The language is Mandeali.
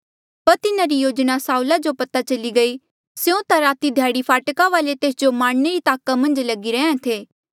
पर तिन्हारी योजना साऊला जो पता चली गयी स्यों ता राती ध्याड़ी फाटका वाले तेस जो मारणे री ताका मन्झ लगी रैंहयां थे